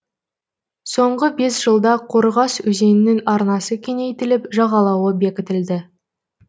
соңғы бес жылда қорғас өзенінің арнасы кеңейтіліп жағалауы бекітілді